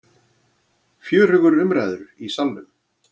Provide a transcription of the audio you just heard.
Fjörugur umræður í Salnum